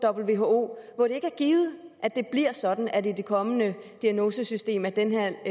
who hvor det ikke er givet at det bliver sådan i det kommende diagnosesystem at den her